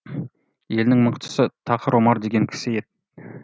елінің мықтысы тақыр омар деген кісі еді